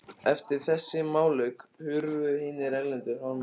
Eftir þessi málalok hurfu hinir erlendu hermenn á brott.